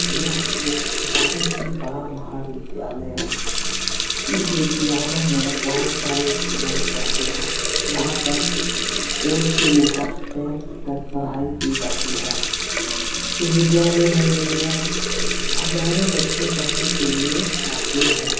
यह एक बहुत ही बड़ा महाविद्यालय है। इस विद्यालय में बहुत सारे स्टूडेंट पढ़ते हैं। यहाँ पर एइथ से लेके टेंथ तक पढ़ाई की जाती है । इस विधालय में मिनिमम हजारों बच्चे पढ़ने के लिए आते हैं।